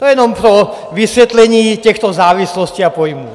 To jenom pro vysvětlení těchto závislostí a pojmů.